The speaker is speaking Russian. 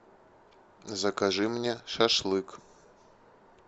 закажи мне шашлык